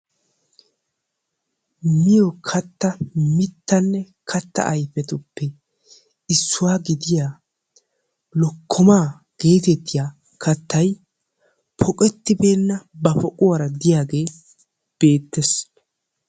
miyo katta mitanne katta ayfettuppe issuwa gidiya lokkomaa geetettiya katay poqetibeenna ba poquwaara diyaage beetees.